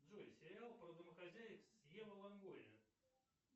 джой сериал про домохозяек с ева лонгория